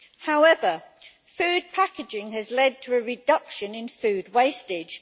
However, food packaging has led to a reduction in food wastage.